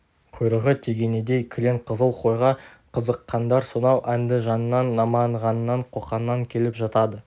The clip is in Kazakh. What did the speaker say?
құйрығы тегенедей кілең қызыл қойға қызыққандар сонау әндіжаннан наманғаннан қоқаннан келіп жатады